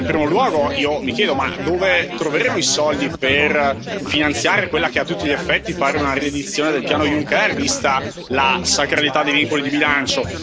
In primo luogo, io mi chiedo dove troveremo i soldi per finanziare quella che a tutti gli effetti pare una riedizione del piano Juncker, vista la sacralità dei vincoli di bilancio.